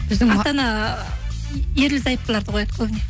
ата ана ерлі зайыптыларды қояды көбіне